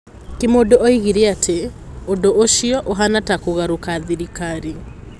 Kĩmũndũ oigire atĩ "Ũndũ ũcio ũhaana ta kũgarũra thirikari".